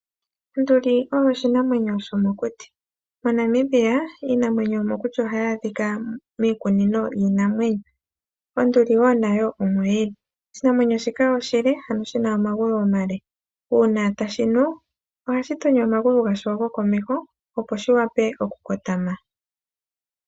Onduli oyo oshinanwenyo shomokuti. MoNamibia iinamwenyo mbino ohayi adhika miikunino yiinamwenyo onduli nayo omo yili. Oshinanwenyo shika oshina omagulu omale uuna tashinu ohashi tonyo omagulu gasho gokomeho, opo shi wape okukotama.